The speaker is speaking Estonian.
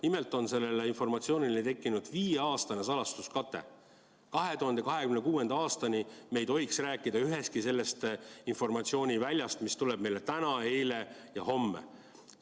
Nimelt on sellele informatsioonile tekkinud viieaastane salastuskate: 2026. aastani me ei tohiks rääkida ühestki sellest informatsiooniväljast, mis tuli meile eile, tuleb täna ja homme.